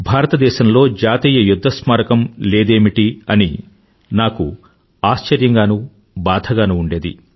భారతదేశంలో జాతీయ యుధ్ధ స్మారకం లేదమిటని నాకు ఆశ్చర్యంగానూ బాధ గానూ ఉండేది